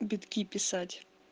битки писать